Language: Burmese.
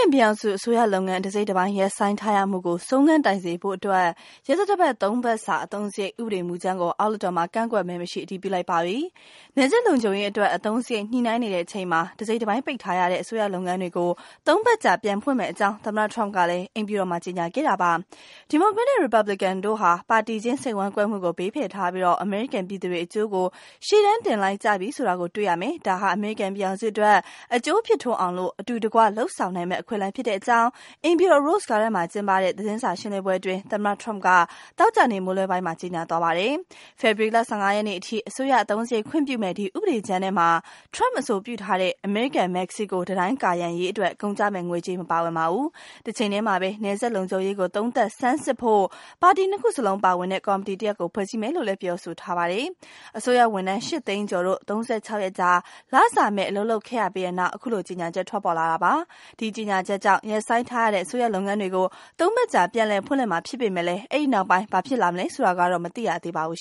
န်ပြည်ထောင်စု အစိုးရလုပ်ငန်း တစိတ်တပိုင်း ရပ်ဆိုင်းထားရမှုကို ဆုံးခန်းတိုင်စေဖို့အတွက် ရက်သတ္တ (၃) ပတ်စာ အသုံးစရိတ် ဥပဒေမူကြမ်းကို အောက်လွှတ်တော်မှာ ကန့်ကွက်မဲမရှိ အတည်ပြု လိုက်ပါပြီ။ နယ်စပ်လုံခြုံရေးအတွက် အသုံးစရိတ် ညှိနှိုင်းနေတဲ့အချိန်မှာ တစိတ်တပိုင်းပိတ်ထားရတဲ့ လုပ်ငန်းတွေကို ၃ ပတ်ကြာ ပြန်ဖွင့်မယ့်အကြောင်း သမ္မတ Trump ကလည်း အိမ်ဖြူတော်မှာ ကြေညာခဲ့တာပါ။ ဒီမိုကရက်နဲ့ ရီပတ်ဘလစ်ကန်တို့ဟာ ပါတီချင်း စိတ်ဝမ်းကွဲမှုကို ဘေးဖယ်ထားပြီး အမေရိကန်ပြည်သူတွေအကျိုးကို ရှေ့တန်းတင်လိုက်ကြပြီဆိုတာ တွေ့ရမယ်၊ ဒါဟာ အမေရိကန်ပြည်ထောင်စုအတွက် အကျိုးဖြစ်ထွန်းအောင် အတူတကွ လုပ်ဆောင်နိုင်မယ့် အခွင့်အလမ်း ဖြစ်တယ်လို့ အိမ်ဖြူတော် Rose Garden မှာ ပြုလုပ်တဲ့ သတင်းစာ ရှင်းလင်းပွဲမှာ သမ္မတထရမ့် သောကြာနေ့က ကြေညာသွားတာ ဖြစ်ပါတယ်။ ဖေဖေါ်ဝါရီလ ၁၅ ရက်နေ့ထိ အစိုးရအသုံးစရိတ် ခွင့်ပြုမယ့် ဒီဥပဒေကြမ်းထဲမှာ ထရမ့်အဆိုပြုထားတဲ့ အမေရိကန်-မက္ကဆီကို တံတိုင်း ကာရံရေးအတွက် ကုန်ကျမယ့်ငွေကြေး မပါဝင်ပါဘူး။ တချိန်တည်းမှာပဲ နယ်စပ်လုံခြုံရေးကို သုံးသပ်ဆန်းစစ်ဖို့ ပါတီနှစ်ခုလုံး ပါဝင်တဲ့ ကော်မတီတရပ်ကို ဖွဲ့စည်းမယ်လို့လည်း ဆိုပါတယ်။ အစိုးရဝန်ထမ်း (၈)သိန်းကျော်တို့ (၃၅)ရက်ကြာ လစာမဲ့ အလုပ်လုပ်ခဲ့ရပြီးနောက် အခုလိုကြေညာချက် ပေါ်ထွက်လာတာ ဖြစ်ပါတယ်။ ဒီကြေညာချက်ကြောင့် ရပ်ဆိုင်းထားရတဲ့ အစိုးရလုပ်ငန်းတွေကို (၃)ပတ်ကြာ ပြန်လည်ဖွင့်လှစ်မှာ ဖြစ်ပေမယ့် အဲဒီနောက်ပိုင်း ဘာဖြစ်လာမလဲ ဆိုတာကတော့ မသိရသေးပါဘူး